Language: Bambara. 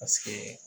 Paseke